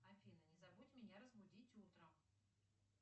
афина не забудь меня разбудить утром